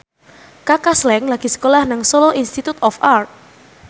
Kaka Slank lagi sekolah nang Solo Institute of Art